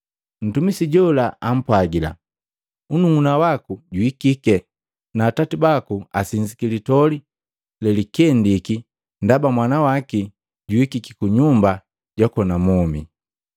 Mtumisi jola ampwagila, ‘Nnuuna waku juhikike, na atati baku asinzi litoli lelikendiki ndaba mwana waki juhikiki kunyumba jwakona mwome.’